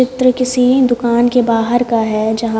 चित्र किसी भी दुकान के बाहर का है जहाँ--